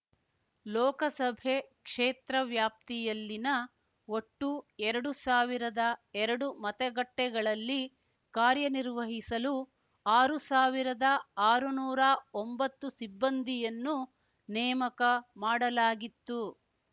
ಲೋಕಸಭೆ ಕ್ಷೇತ್ರ ವ್ಯಾಪ್ತಿಯಲ್ಲಿನ ಒಟ್ಟು ಎರಡು ಸಾವಿರದ ಎರಡು ಮತಗಟ್ಟೆಗಳಲ್ಲಿ ಕಾರ್ಯನಿರ್ವಹಿಸಲು ಆರು ಸಾವಿರದ ಆರು ನೂರಾ ಒಂಬತ್ತು ಸಿಬ್ಬಂದಿಯನ್ನು ನೇಮಕ ಮಾಡಲಾಗಿತ್ತು